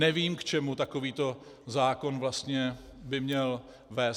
Nevím, k čemu takový zákon vlastně by měl vést.